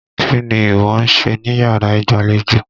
Kí ni ìwọ ń ṣe níyàrá ìgbàlejò?